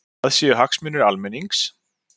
Það séu hagsmunir almennings